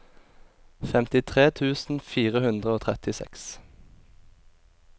femtitre tusen fire hundre og trettiseks